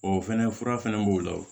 O fɛnɛ fura fɛnɛ b'o la o